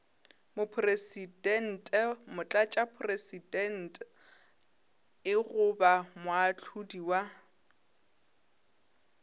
mopresidente motlatšamopresidente goba moahlodi wa